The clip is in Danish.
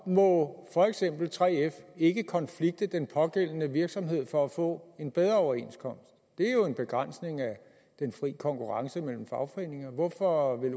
må for eksempel 3f ikke konflikte den pågældende virksomhed for at få en bedre overenskomst det er jo en begrænsning af den fri konkurrence mellem fagforeninger hvorfor vil